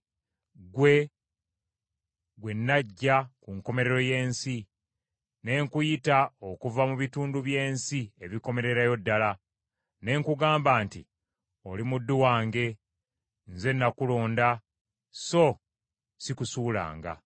ggwe, gwe naggya ku nkomerero y’ensi ne nkuyita okuva mu bitundu by’ensi ebikomererayo ddala, ne nkugamba nti, ‘Oli muddu wange,’ nze nakulonda so sikusuulanga: